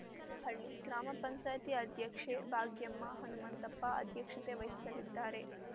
ಬೀಕನಹಳ್ಳಿ ಗ್ರಾಮ ಪಂಚಾಯತಿ ಅಧ್ಯಕ್ಷೆ ಭಾಗ್ಯಮ್ಮ ಹನುಮಂತಪ್ಪ ಅಧ್ಯಕ್ಷತೆ ವಹಿಸಲಿದ್ದಾರೆ